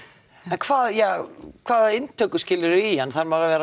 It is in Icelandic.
hvaða hvaða inntökuskilyrði eru í hann þarf maður að vera